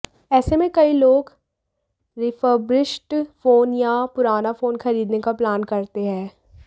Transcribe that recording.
ऐसे में कई लोग रिफर्बिश्ड फोन या पुराना फोन खरीदने का प्लान करते हैं